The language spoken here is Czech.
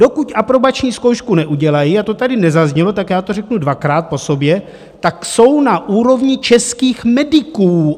Dokud aprobační zkoušku neudělají - a to tady nezaznělo, tak já to řeknu dvakrát po sobě - tak jsou na úrovni českých mediků!